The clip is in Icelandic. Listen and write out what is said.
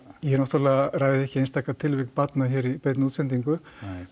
ég náttúrulega ræði ekki einstaka tilvik barna hér í beinni útsendingu